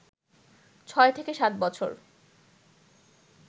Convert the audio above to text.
৬ থেকে ৭ বছর